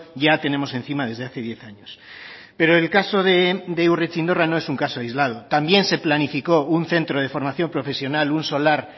ya tenemos encima desde hace diez años pero el caso de urretxindorra no es un caso aislado también se planificó un centro de formación profesional un solar